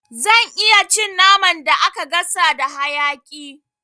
Zan iya cin naman da aka gasa da hayaƙi